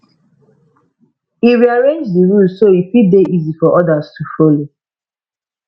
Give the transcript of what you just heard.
e rearrange the rules so e fit dey easy for others to follow